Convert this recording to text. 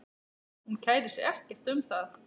Hún kærir sig ekkert um það.